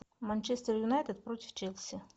манчестер юнайтед против челси